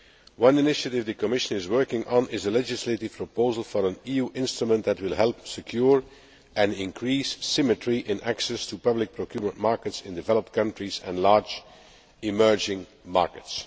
One initiative the Commission is working on is a legislative proposal for an EU instrument that will help secure and increase symmetry in access to public procurement markets in developed countries and large emerging markets.